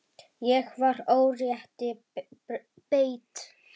Ég var órétti beitt.